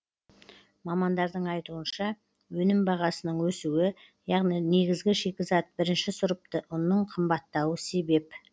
мамандардың айтуынша өнім бағасының өсуі яғни негізгі шикізат бірінші сұрыпты ұнның қымбаттауы себеп